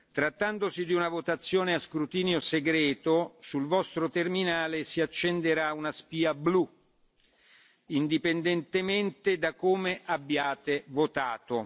Trattandosi di una votazione a scrutinio segreto sul vostro terminale si accenderà una spia blu, indipendentemente da come abbiate votato.